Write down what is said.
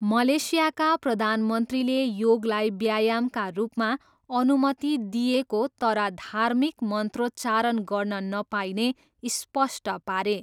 मलेसियाका प्रधानमन्त्रीले योगलाई व्यायामका रूपमा अनुमति दिइएको तर धार्मिक मन्त्रोच्चारण गर्न नपाइने स्पष्ट पारे।